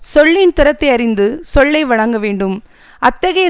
சொல்லின் திறத்தை அறிந்து சொல்லை வழங்க வேண்டும் அத் தகைய